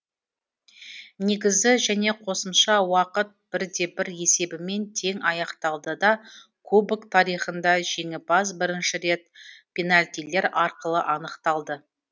негізі және қосымша уақыт бірде бір есебімен тең аяқталды да кубок тарихында жеңімпаз бірінші рет пенальтилер арқылы анықталды